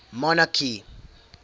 monarchy